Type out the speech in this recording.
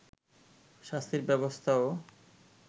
শাস্তির ব্যবস্থাও